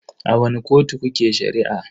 A wani kotu kuke Shari'a?